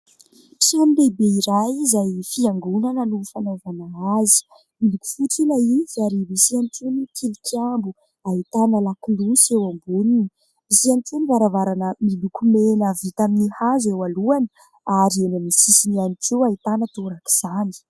Trano lehibe iray, izay fiangonana no fanaovana azy : miloko fotsy ilay izy ary misy ihany koa ny tilikambo ahitana lakolosy eo amboniny ; misy ihany koa ny varavarana miloko mena vita amin'ny hazo eo alohany ary eo amin'ny sisiny ihany koa ahitana torak'izany.